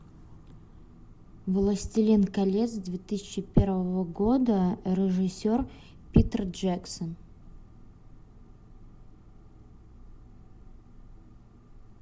властелин колец две тысячи первого года режиссер питер джексон